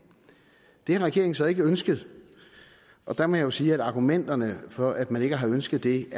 det har regeringen så ikke ønsket der må jeg jo sige at argumenterne for at man ikke har ønsket det